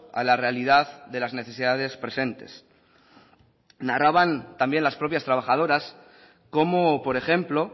a la realidad de las necesidades presentes narraban también las propias trabajadoras cómo por ejemplo